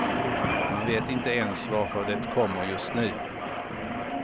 Man vet inte ens varför det kommer just nu.